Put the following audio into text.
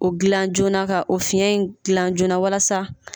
O gilan joona ka o fiyɛn in gilan joona walasa